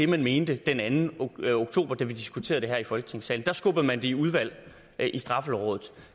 man mente den anden oktober da vi diskuterede det her i folketingssalen der skubbede man det i udvalg i straffelovrådet